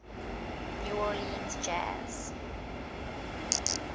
new orleans jazz